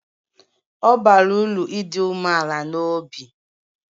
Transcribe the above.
Ọ bara uru ịdị umeala n'obi